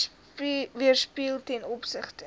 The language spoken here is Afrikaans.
weerspieël ten opsigte